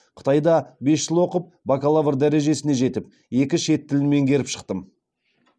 қытайда бес жыл оқып бакалавр дәрежесіне жетіп екі шет тілін меңгеріп шықтым